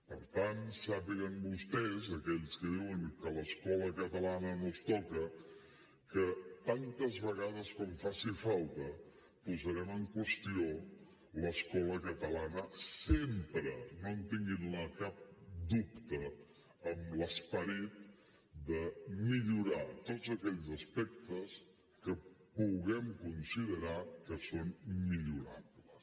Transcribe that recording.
per tant sàpiguen vostès aquells que diuen que l’escola catalana no es toca que tantes vegades com faci falta posarem en qüestió l’esco la catalana sempre no en tinguin cap dubte amb l’esperit de millorar tots aquells aspectes que puguem considerar que són millorables